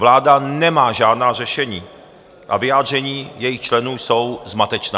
Vláda nemá žádná řešení a vyjádření jejích členů jsou zmatečná.